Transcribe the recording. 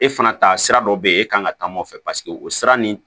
E fana ta sira dɔ bɛ ye e kan ka taa nɔfɛ paseke o sira nin